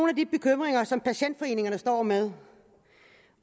af de bekymringer som patientforeningerne står med